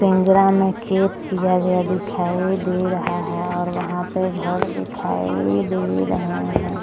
पिंजरा में छेद किया गया दिखाई दे रहा है और वहां पर हमें घर दिखाई दे रहे है।